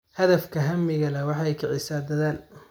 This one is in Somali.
Hadafka hamiga leh waxa ay kicisaa dadaal.